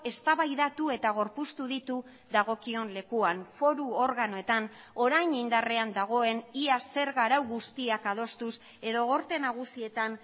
eztabaidatu eta gorpuztu ditu dagokion lekuan foru organoetan orain indarrean dagoen ia zerga arau guztiak adostuz edo gorte nagusietan